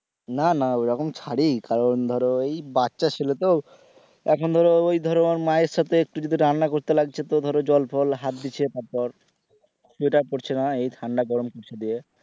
না না ওরকম ছাড়ি কারণ ধরো ওই বাচ্চা ছেলে তো এখন ধরো ওই ধরো মায়ের সাথে একটু যদি রান্না করতে লাগছে তো ধরো জল ফল হাত দিচ্ছে তারপর পড়ছে না ঠান্ডা গরম পড়ছে দিয়ে।